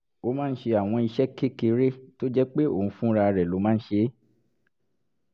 ó máa ń ṣe àwọn iṣẹ́ kékeré tó jẹ́ pé òun fúnra rẹ̀ ló máa ń ṣe é